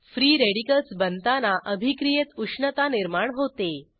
free radicals बनताना अभिक्रियेत उष्णता निर्माण होते